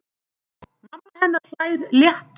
Mamma hennar hlær léttum hlátri.